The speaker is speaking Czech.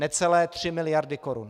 Necelé 3 miliardy korun.